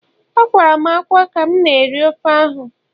Akwara m ákwá ka m na-eri ofe ose